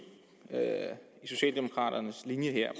i socialdemokraternes linje her